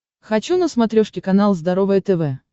хочу на смотрешке канал здоровое тв